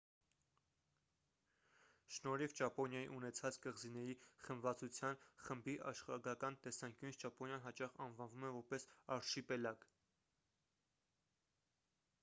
շնորհիվ ճապոնիայի ունեցած կղզիների խմբվածության/խմբի՝ աշխարհագրական տեսանկյունից ճապոնիան հաճախ անվանվում է որպես «արշիպելագ»